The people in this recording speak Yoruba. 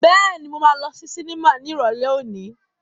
Bẹ́ẹ̀ni, mo máa lọ sí sinimá ní Ìrọ̀lẹ́ òní.